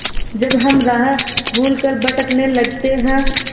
जब हम राह भूल कर भटकने लगते हैं